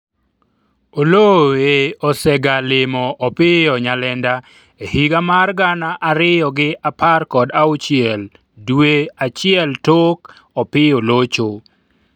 Oloo e osega limo Opiyo Nyalenda e higa mar gana ariyo gi apr kod auchiel dwe achiel tok Opiyo locho